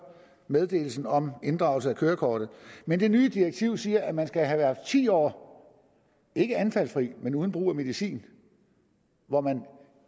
meddelelsen om inddragelse af kørekortet men det nye direktiv siger at man skal have været ti år ikke anfaldsfri men uden brug af medicin hvor det